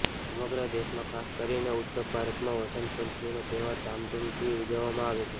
સમગ્ર દેશમાં ખાસ કરીને ઉત્તપ ભારતમાં વંસત પંચમીનો તહેવાર ધૂમધામથી ઉજવવામાં આવે છે